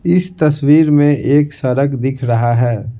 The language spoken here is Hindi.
इस तस्वीर में एक सड़क दिख रहा है।